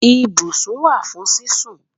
Ìbùṣún wà fún sísún